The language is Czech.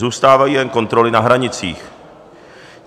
Zůstávají jen kontroly na hranicích.